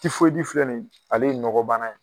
filɛ nin ye ale ye nɔgɔbana yue.